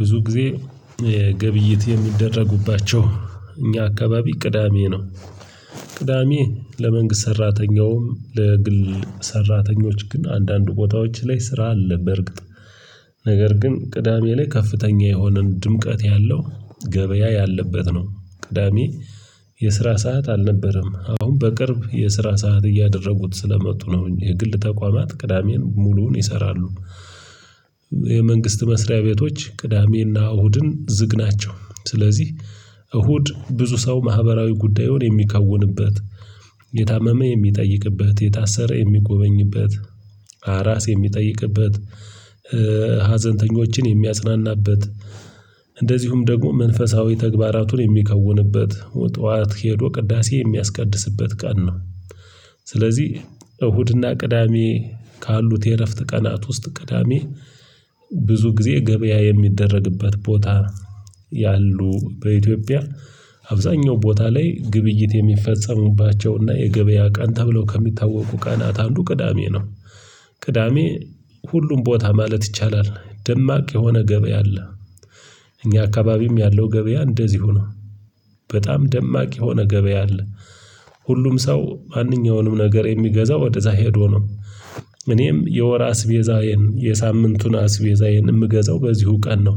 ብዙ ጊዜ ግብይት የሚደረጉባቸው እኛ አካባቢ ቅዳሜ ነው። ቅዳሜ ለመንግስት ሰራተኛውም ለግል ሰራተኞች ግን አንዳንድ ቦታዎች ላይ ስራ አለ። በእርግጥ ነገር ግን ቅዳሜ ላይ ከፍተኛ የሆነን ድምቀት ያለው ገበያ ያለበት ነው። ቅዳሜ የስራ ሰዓት አልነበረም አሁን በቅርብ የስራ ሰዓት እያደረጉት ስለመጡ ነው የግል ተቋማት ቅዳሜን ሙሉውን ይሰራሉ። የመንግስት መስሪያ ቤቶች ቅዳሜ እና እሁድን ዝግ ናቸው። ስለዚህ እሁድ ብዙ ሰው ማህበራዊ ጉዳዩን የሚከውንበት የታመመ የሚጠይቅበት የታሰረ የሚጎበኝበት አራስ የሚጠይቅበት ሀዘንተኞችን የሚያጽናናበት እንደዚሁም ደግሞ መንፈሳዊ ተግባራቱን የሚከውንበት ጠዋት ሄዶ ቅዳሴ የሚያስቀድስበት ቀን ነው። ስለዚህ እሁድ እና ቅዳሜ ካሉት የእረፍት ቀናት ውስጥ ቅዳሜ ብዙ ጊዜ ገበያ የሚደረግበት ቦታ ያሉ በኢትዮጵያ አብዛኛው ቦታ ላይ ግብይት የሚፈጸሙባቸው እና የገበያ ቀን ተብለው ከሚታወቁ ቀናት አንዱ ቅዳሜ ነው። ቅዳሜ ሁሉም ቦታ ማለት ይቻላል ደማቅ የሆነ ገበያ አለ። እኛ አካባቢም ያለው ገበያ እንደዚሁ ነው። በጣም ደማቅ የሆነ ገበያ አለ። ሁሉም ሰው ማንኛውንም ነገር የሚገዛው ወደ እዛ ሄዶ ነው። እኔም የወር አስቤዛዬን የሳምንቱን አስቤዛዬን የምገዛው በዚሁ ቀን ነው።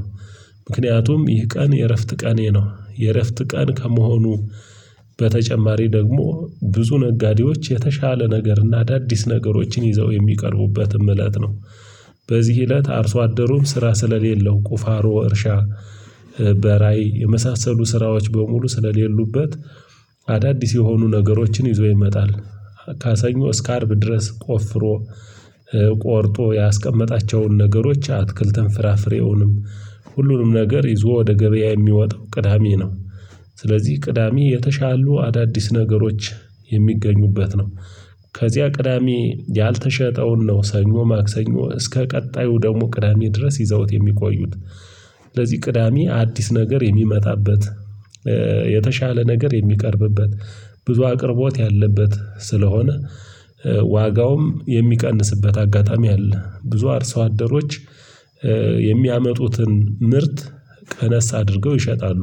ምክንያቱም ይህ ቀን የእረፍት ቀኔ ነው የእረፍት ቀን ከመሆኑ በተጨማሪ ደግሞ ብዙ ነጋዴዎች የተሻለ ነገር እና አዳዲስ ነገሮችን ይዘው የሚቀርቡበትም እለት ነው። በዚህ እለት አርሶ አደሩም ስራ ስለሌለው ቁፋሮ እርሻ በራይ የመሳሰሉ ስራዎች በሙሉ ስለሌሉበት አዳዲስ የሆኑ ነገሮችን ይዞ ይመጣል። ካሰኞ እስከ አርብ ድረስ ቆፍሮ ቆርጦ ያስቀመጣቸውን ነገሮች አትክልትን ፍራፍሬውንም ሁሉንም ነገር ይዞ ወደ ገበያ የሚወጣው ቅዳሜ ነው። ስለዚህ ቅዳሜ የተሻሉ አዳዲስ ነገሮች የሚገኙበት ነው። ከዚያ ቅዳሜ ያልተሸጠውን ነው ሰኞ ማክሰኞ እስከ ቀጣዩ ደግሞ ቅዳሜ ድረስ ይዘውት የሚቆዩት። ለዚህ ቅዳሜ አዲስ ነገር የሚመጣበት የተሻለ ነገር የሚቀርብበት ብዙ አቅርቦት ያለበት ስለሆነ። ዋጋውም የሚቀንስበት አጋጣሚ አለ ብዙ አርሰው አደሮች የሚያመጡትን ምርት ቀነስ አድርገው ይሸጣሉ።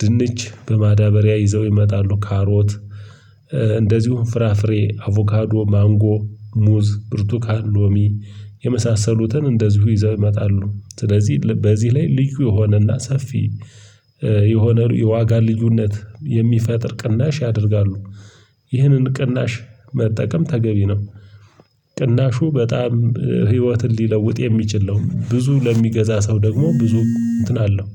ድንች በማዳበሪያ ይዘው ይመጣሉ ካሮት እንደዚሁም ፍራፍሬ አቮካዶ ማንጎ ሙዝ ብርቱካን ሎሚ የመሳሰሉትን እንደዚሁ ይዘው ይመጣሉ። ስለዚህ በዚህ ላይ ልዩ የሆነ እና ሰፊ የሆነ የዋጋ ልዩነት የሚፈጥር ቅናሽ ያደርጋሉ። ይህንን ቅናሽ መጠቀም ተገቢ ነው። ቅናሹ በጣም ህይወትን ሊለውጥ የሚችል ነው። ብዙ ለሚገዛ ሰው ደግሞ ብዙ እንትን አለው።